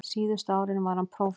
Síðustu árin var hann prófastur.